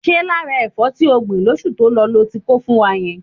Ṣé lára ẹ̀fọ́ tí o gbìn lóṣù tó lọ lo ti kó fún wa yẹn?